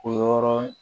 O yɔrɔ